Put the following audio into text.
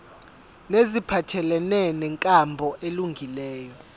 neziphathelene nenkambo elungileyo